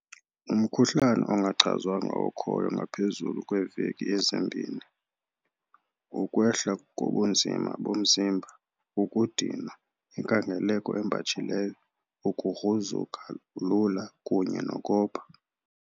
Umkhuhlane ongachazwanga okhoyo ngaphezulu kweeveki ezimbini, ukwehla kobunzima bomzimba, ukudinwa, inkangeleko embatshileyo, ukugruzuka lula kunye nokopha.